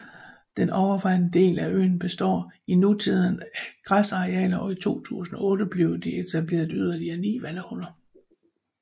Den overvejende del af øen består i nutiden af græsarealer og i 2008 blev der etableret yderligere ni vandhuller